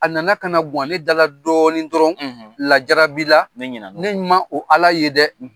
A na na ka na guwan ne da la dɔɔni dɔrɔn lajarabi la ne man o Ala ye dɛ.